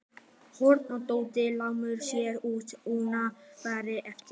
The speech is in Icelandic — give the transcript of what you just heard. Örn og Tóti laumuðu sér út en Nína varð eftir.